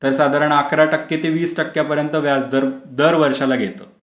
तर साधारण एकरा ते वीस टक्के दार वर्षाला घेता.